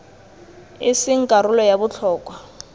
e seng karolo ya botlhokwa